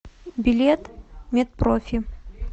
билет мед профи